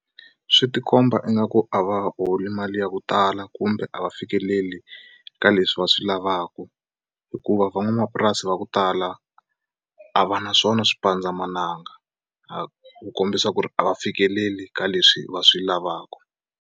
Swi ti komba ingaku a va holi mali ya ku tala kumbe a va fikeleli ka leswi va swi lavaku hikuva van'wamapurasi va ku tala a va na swona swipandzamananga ku kombisa ku ri a va fikeleli ka leswi va swi lavaka.